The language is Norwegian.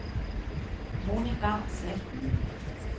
Monica Sletten